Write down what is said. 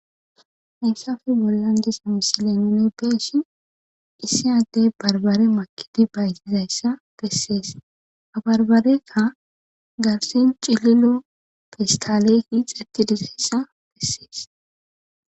Hayssape bollan diiza missile nuni beishin Issi addey barbbare maakidi bayzizayssa besses ha barbarekka garssen cillilo pesstaley micceti diizayssa besses.